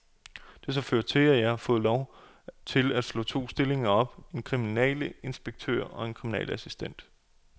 Det har så ført til, at jeg har fået lov til at slå to stillinger op, en kriminalinspektør og en kriminalassistent.